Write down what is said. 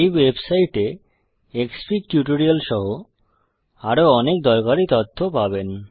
এই ওয়েবসাইট এ Xfig tutorial সহ আরও অনেক দরকারী তথ্য পাবেন